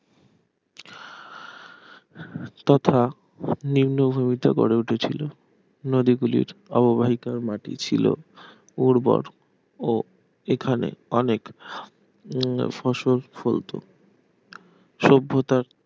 তথা নিম্নভূমিতে গড়ে উঠেছিল নদীগুলির অববাহিকার মাটি ছিল উর্বর ও এখানে অনেক উম ফসল ফলত সভ্যতার